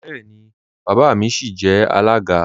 Bẹẹni, baba mi sìí jẹ alága.